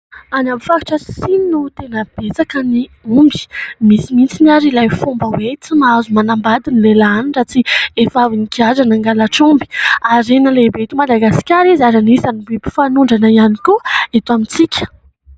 Any amin'ny faritra sasany no tena betsaka ny omby. Misy mitsiny ary ilay fomba hoe : "tsy mahazo manambady ny lehilahy ny raha tsy efa avy nigadra na nangalatra omby" . Harena lehibe eto Madagasikara izy ary anisany biby fanondrana ihany koa eto amintsika.